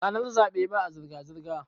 ranar zaɓe ba a zirga-zirga